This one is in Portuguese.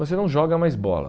Você não joga mais bola.